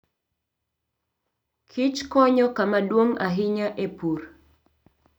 Kich konyo kama duong' ahinya e pur.